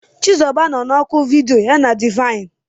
Chizuba nọ na oku vidiyo ya na Divine.